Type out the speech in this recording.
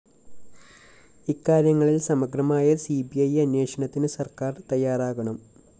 ഇക്കാര്യങ്ങളില്‍ സമഗ്രമായ C B I അന്വേഷണത്തിന് സര്‍ക്കാര്‍ തയ്യാറാകണം